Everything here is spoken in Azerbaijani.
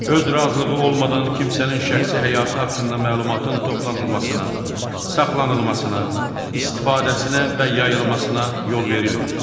Öz razılığı olmadan kimsənin şəxsi həyatı haqqında məlumatın toplanılmasına, saxlanılmasına, istifadəsinə və yayılmasına yol verilmir.